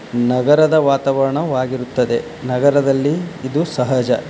ಈ ಚಿತ್ರದಲ್ಲಿ ಕಾಣುತ್ತಿರುವುದು ಆಟೋಗಳು ಹಾಗು ಬಸ್ಸು ಹಾಗು ಇದು ನಗರದ ವಾತವರಣವಾಗಿರುತ್ತದೆ. ನಗರದಲ್ಲಿ ಇದು ಸಹಜ.